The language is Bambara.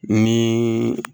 Ni